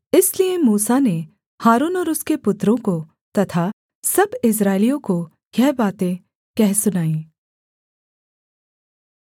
इसलिए मूसा ने हारून और उसके पुत्रों को तथा सब इस्राएलियों को यह बातें कह सुनाईं